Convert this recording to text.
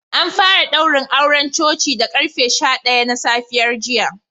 An fara daurin auren coci da karfe sha daya na safiyar jiya